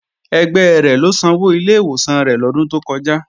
Ẹgbẹ́ rẹ̀ ló sanwó ilé ìwòsàn rẹ̀ lọ́dún tó kọjá